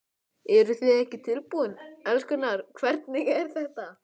Eruð þið ekki tilbúin, elskurnar, hvernig er þetta?